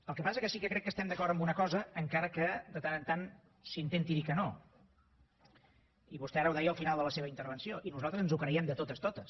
el que passa és que sí que crec que estem d’acord en una cosa encara que de tant en tant s’intenti dir que no i vostè ara ho deia al final de la seva intervenció i nosaltres ens ho creiem de totes totes